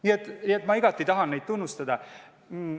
Nii et ma tahan neid igati tunnustada!